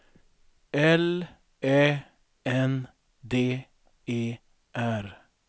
L Ä N D E R